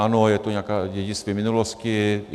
Ano, je to nějaké dědictví minulosti.